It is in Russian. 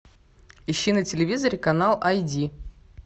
ищи на телевизоре канал ай ди